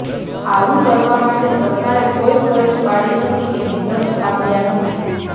આવું કરવા માટે સરકારે કોઈ ફરજ પાડી નથી કે નિર્દેશ આપ્યા નથી